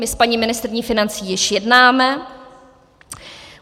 My s paní ministryní financí již jednáme.